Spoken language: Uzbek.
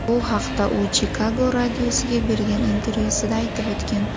Bu haqda u Chikago radiosiga bergan intervyusida aytib o‘tgan.